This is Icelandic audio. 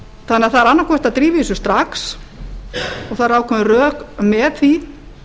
það er annaðhvort að drífa í þessu strax og það eru ákveðin rök með því